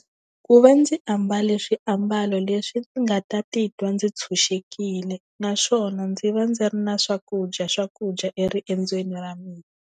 Ku va ndzi ambale swiambalo leswi ndzi nga ta titwa ndzi tshunxekile naswona ndzi va ndzi ri na swakudya swakudya eriendzweni ra mina.